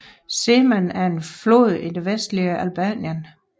Seman er en flod i det vestlige Albanien